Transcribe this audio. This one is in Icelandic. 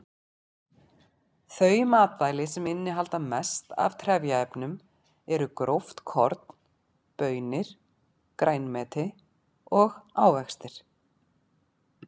Þau matvæli sem innihalda mest af trefjaefnum eru gróft korn, baunir, grænmeti og ávextir.